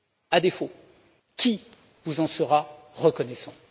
À défaut qui vous en sera reconnaissant?